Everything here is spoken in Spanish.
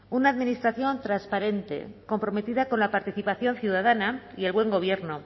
una administración transparente comprometida con la participación ciudadana y el buen gobierno